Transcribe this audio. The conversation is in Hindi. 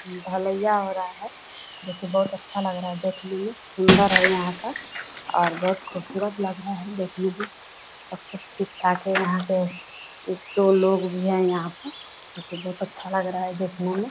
ढलैया हो रहा है जोकि बहुत अच्छा लग रहा है देखने में। सुंदर है यहाँ का और बहुत ख़ूबसूरत लग रहा है देखने मे सब कुछ ठीक-ठाक है यहाँ पे। एक दो लोग भी है यहाँ पर बहुत अच्छा लग रहा है देखने मे |